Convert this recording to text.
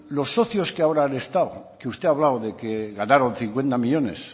los socios que ahora han estado que usted ha hablado de que ganaron cincuenta millónes